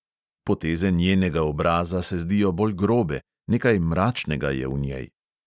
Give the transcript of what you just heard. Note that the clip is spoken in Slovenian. Poteze njenega obraza se zdijo bolj grobe, nekaj mračnega je v njej.